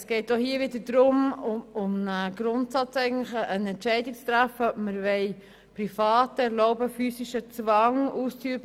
Es geht auch hier wieder darum, eine Entscheidung zu treffen, ob wir im Kanton Bern Privaten erlauben wollen, physischen Zwang auszuüben.